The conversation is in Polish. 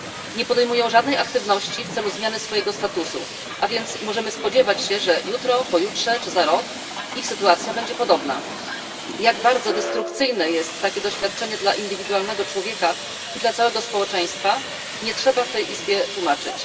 Nie podejmują żadnej aktywności w celu zmiany swojego statusu, a więc możemy się spodziewać, że jutro, pojutrze czy za rok ich sytuacja będzie podobna. Jak bardzo destrukcyjne jest takie doświadczenie dla indywidualnego człowieka i dla całego społeczeństwa, nie trzeba w tej Izbie tłumaczyć.